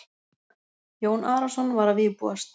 Jón Arason var að vígbúast.